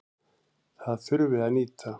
Það þurfi að nýta.